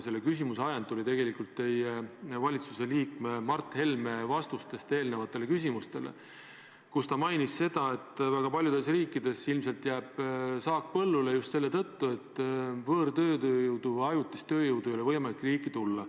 Selle küsimuse ajend tuli tegelikult teie valitsuse liikme Mart Helme vastustest eelmistele küsimustele, kus ta mainis seda, et väga paljudes riikides ilmselt jääb saak põllule just selle tõttu, et võõrtööjõudu või ajutist tööjõudu ei ole võimalik riiki tuua.